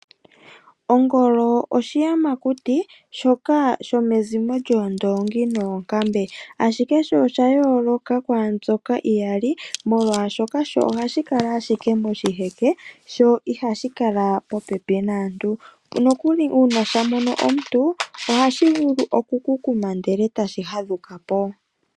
Ongolo oshiyamakuti shoka shomezimo lyoondoongi noonkambe ashike sho osha yooloka kwaambyoka iyali molwaashoka ohashi kala ashike moshiheke sho ihashi kala popepi naantu nokuli uuna shamono omuntu ohashi vulu okukukuma ndele tashi fadhukapo.